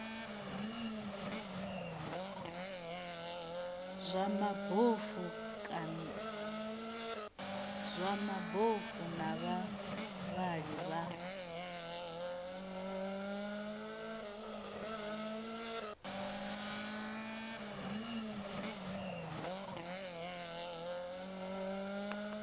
zwa mabofu na vhavhali vha